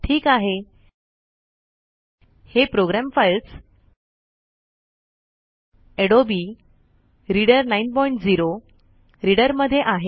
ठीक आहे हे program files Adobe reader 90 reader मध्ये आहे